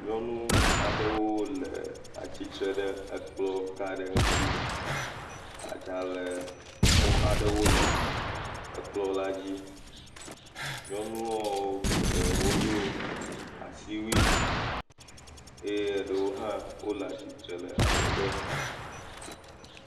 Nyɔnu aɖewo le atsitre ɖe ekplɔga aɖe ŋuti, adzalẽkɔ aɖewo le ekplɔ la dzi. Nyɔnuɔ geɖewo do asiwui, eye ɖewo ha wòle atsitre le adzɔge